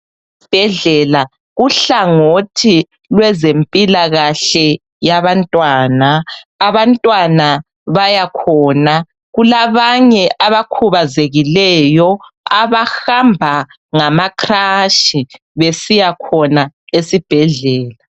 Esibhedlela uhlangothi lwezempilakahle yabantwana, abantwana bayakhona. Kulabanye abakhubazekileyo abahamba ngama crush besiyakhona esibhedlela.